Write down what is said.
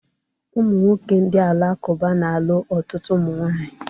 Ụmụnwoke ndị Alakụba na-alụ ọtụtụ ụmụnwaanyị.